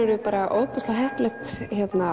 bara ofboðslega heppilegt